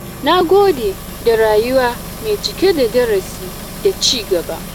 Na gode da rayuwa mai cike da darasi da cigaba.